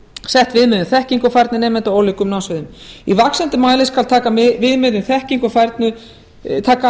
sett viðmið um þekkingu og færni nemenda á ólíkum námssviðum í vaxandi mæli skal taka viðmið um þekkingu og færni miði